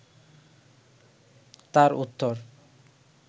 তার উত্তর